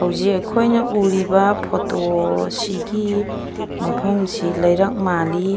ꯍꯧꯖꯤꯛ ꯑꯈꯣꯏꯅ ꯎꯔꯤꯕ ꯐꯣꯇꯣ ꯑꯁꯤꯒꯤ ꯃꯥꯐꯝ ꯑꯁꯤ ꯂꯩꯔꯛ ꯃꯜꯂꯤ꯫